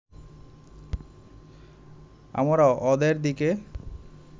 আমরা ওদের দিকে